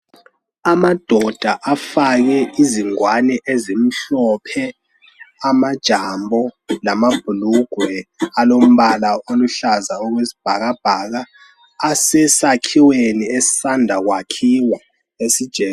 Amadoda afake izingwane ezimhlophe, amajambo lamabhulugwe alombala oluhlaza okwesibhakabhaka asesakhiweni esisanda kwakhiwa.